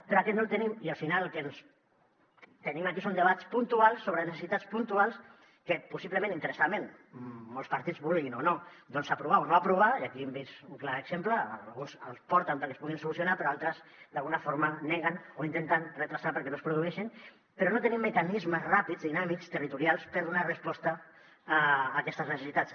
però aquest no el tenim i al final el que tenim aquí són debats puntuals sobre necessitats puntuals que possiblement interessadament molts partits vulguin o no aprovar o no aprovar i aquí n’hem vist un clar exemple alguns els porten perquè es puguin solucionar però altres d’alguna forma els neguen o els intenten endarrerir perquè no es produeixin però no tenim mecanismes ràpids dinàmics territorials per donar resposta a aquestes necessitats